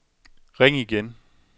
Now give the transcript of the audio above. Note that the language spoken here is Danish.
ring igen